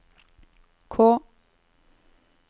K